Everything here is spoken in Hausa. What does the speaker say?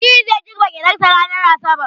Aliyu zai girbe gyaɗarsa ranar asabar.